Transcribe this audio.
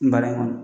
Baara in kɔnɔ